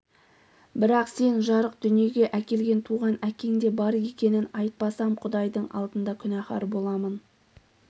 бірақ сен жарық дүниеге әкелген туған әкең де бар екенін айтпасам құдайдың алдында күнәһар боламын